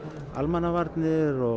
almannavarnir og